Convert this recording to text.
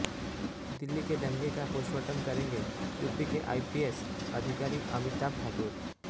दिल्ली के दंगे का पोस्टमार्टम करेंगे यूपी के आईपीएस अधिकारी अमिताभ ठाकुर